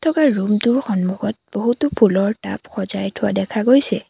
Room টোৰ সন্মুখত বহুতো ফুলৰ টাব সজাই থোৱা দেখা গৈছে।